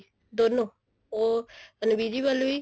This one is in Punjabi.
ਦੋਨੋ ਉਹ invisible ਵੀ